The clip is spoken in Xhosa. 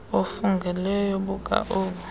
obufungelweyo buka obu